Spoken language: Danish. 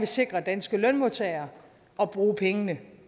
sikre danske lønmodtagere og bruge pengene